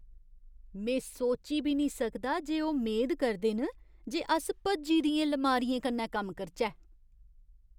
में सोची बी निं सकदा जे ओह् मेद करदे न जे अस भज्जी दियें लमारियें कन्नै कम्म करचै।